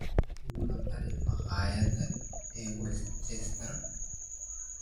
igula tali makhaayad west chester